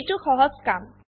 এইটো সহজ কাম